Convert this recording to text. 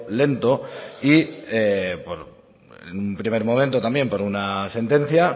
lento y en un primer momento también por una sentencia